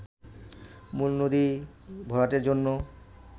মূল নদী ভরাটের জন্য